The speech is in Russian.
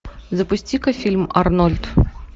запусти ка фильм арнольд